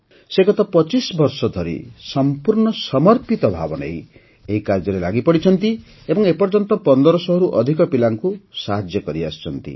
ସେ ଗତ ୨୫ ବର୍ଷ ଧରି ସମ୍ପୂର୍ଣ୍ଣ ସମର୍ପିତ ଭାବ ନେଇ ଏହି କାର୍ଯ୍ୟରେ ଲାଗିପଡ଼ିଛନ୍ତି ଏବଂ ଏ ପର୍ଯ୍ୟନ୍ତ ୧୫୦୦ରୁ ଅଧିକ ପିଲାଙ୍କୁ ସାହାଯ୍ୟ କରିସାରିଛନ୍ତି